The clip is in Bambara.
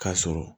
K'a sɔrɔ